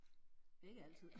Ikke altid